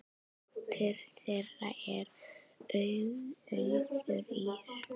Dóttir þeirra er Auður Ýrr.